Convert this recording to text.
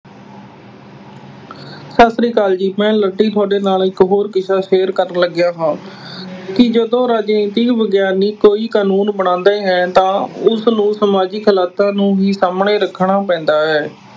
ਸਤਿ ਸ੍ਰੀ ਅਕਾਲ ਜੀ। ਮੈਂ ਤੁਹਾਡੇ ਨਾਲ ਇੱਕ ਹੋਰ ਕਿੱਸਾ share ਕਰਨ ਲੱਗਿਆ ਹਾਂ। ਵੀ ਜਦੋਂ ਰਾਜਨੀਤਿਕ ਵਿਗਿਆਨੀ ਕੋਈ ਕਾਨੂੰਨ ਬਣਾਉਂਦੇ ਹਨ ਤਾਂ ਉਸਨੂੰ ਸਮਾਜਿਕ ਹਾਲਾਤਾਂ ਨੂੰ ਹੀ ਸਾਹਮਣੇ ਰੱਖਣਾ ਪੈਂਦਾ ਹੈ।